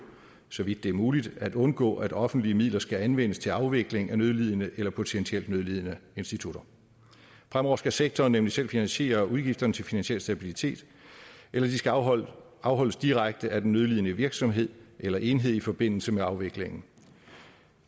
så vidt det er muligt at undgå at offentlige midler skal anvendes til afvikling af nødlidende eller potentielt nødlidende institutter fremover skal sektoren nemlig selv finansiere udgifterne til finansiel stabilitet eller de skal afholdes afholdes direkte af den nødlidende virksomhed eller enhed i forbindelse med afviklingen